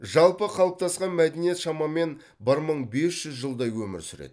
жалпы қалыптасқан мәдениет шамамен бір мың бес жүз жылдай өмір сүреді